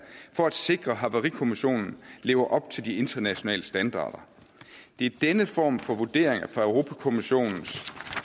for at sikre at havarikommissionen lever op til de internationale standarder det er denne form for vurderinger fra europa kommissionens